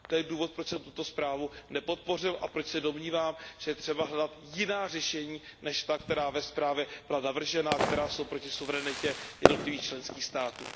To je důvod, proč jsem tuto zprávu nepodpořil a proč se domnívám, že je třeba hledat jiná řešení než ta, která ve zprávě byla navržena, která jsou proti suverenitě jednotlivých členských států.